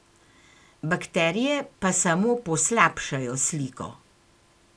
Bakterije pa samo poslabšajo sliko.